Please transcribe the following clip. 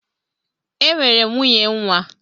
E nwere m nwunye nwa.